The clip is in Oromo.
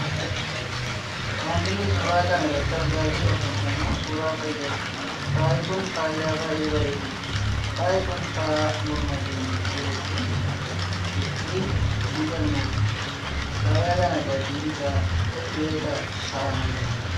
Wanti nuti suuraa kana irratti argaa jirru kun ammoo suuraa faayaati. Faayi kun faaya baayyee bareedudha. Faayi kun faaya morma keenyatti godhachuun ittiin miidhagnudha. Faaya kana gatiinsaa meeqa ta'a laata?